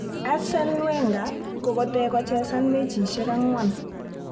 Arsene Wenger kokeete kochesan mechisiek angwan